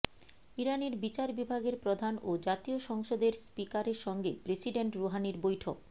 ইরানের বিচার বিভাগের প্রধান ও জাতীয় সংসদের স্পিকারের সঙ্গে প্রেসিডেন্ট রুহানির বৈঠক